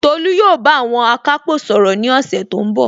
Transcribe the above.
Tolu yóò bá àwọn akápò sọ̀rọ̀ ní ọ̀sẹ̀ tó ń bọ̀